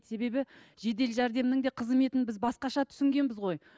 себебі жедел жәрдемнің де қызметін біз басқаша түсінгенбіз ғой